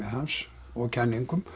hans og kenningum